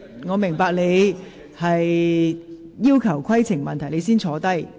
我明白你提出的規程問題，請先坐下。